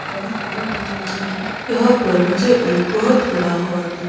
यहां पर मुझे एक बहुत बड़ा हॉल दिख--